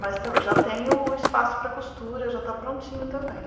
Mas ta já tenho o espaço para costura, já está prontinho também.